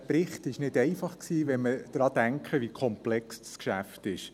Der Bericht war nicht einfach, wenn wir daran denken, wie komplex das Geschäft ist.